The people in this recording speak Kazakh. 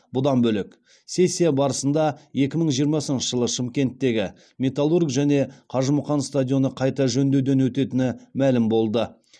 бұдан бөлек сессия барысында екі мың жиырмасыншы жылы шымкенттегі металлург және қажымұқан стадионы қайта жөндеуден өтетіні мәлім болды